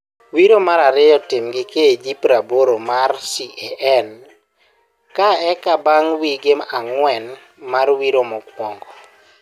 Wiro marariyo tim gi KG prabor mar CAN ka eka bang wige angwen mar wiro mokwongo.